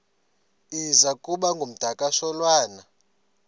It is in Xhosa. iza kuba ngumdakasholwana